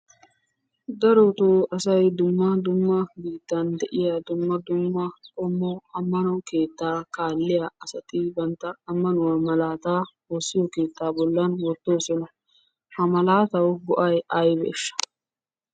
Darotoo asay dumma dumma biittan de"iyaa dumma dumma qommo ammano keettaa kaalliya asati bantta ammanuwaa malaataa woossiyo keettaa bollan wottoosona. Ha malaatawu go"ay aybeeshsha?